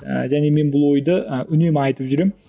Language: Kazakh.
ыыы және бұл ойды ы үнемі айтып жүремін